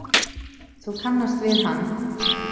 Þú kannast við hann.